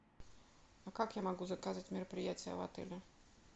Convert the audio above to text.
а как я могу заказать мероприятие в отеле